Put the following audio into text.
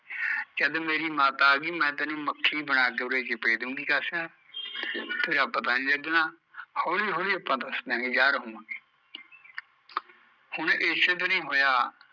ਜਦ ਮੇਰੀ ਮਾਤਾ ਆਗੀ ਮੈਂ ਤੇਰੀ ਮੱਖੀ ਬਣਾ ਕੇ ਉਰੇ ਚਿਪੇਦੂਗੀ ਕਾਸਾ, ਤੇਰਾ ਪਤਾ ਨੀ ਲੱਗਣਾ ਹੋਲੀ ਹੋਲੀ ਆਪਾਂ ਦੱਸ ਦਿਆਗੇ ਯਾਰ ਹੋਵਾਂਗੇ ਹੁਣ ਏਸੇ ਦਿਨ ਹੀਂ ਹੋਇਆ